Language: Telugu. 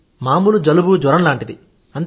మామూలు జలుబుజ్వరం లాంటిదే